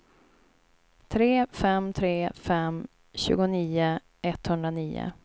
tre fem tre fem tjugonio etthundranio